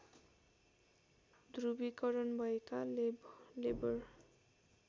ध्रुवीकरण भएका लेबर